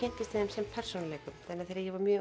sem persónuleikum þegar ég var mjög